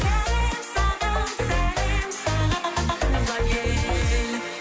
сәлем саған сәлем саған туған ел